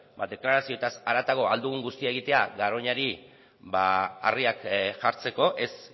deklarazioetaz haratago ahal dugun guztia egitea garoñari harriak jartzeko ez